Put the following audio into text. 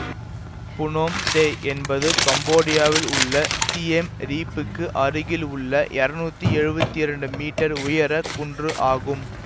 புனோம் தெய் என்பது கம்போடியாவில் உள்ள சியெம் ரீப்புக்கு அருகில் உள்ள இருநூத்தி எழுவத்தி இரண்டு மீட்டர் உயர குன்று ஆகும்